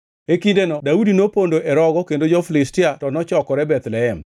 E kindeno Daudi nopondo e rogo kendo jo-Filistia to nochokore Bethlehem.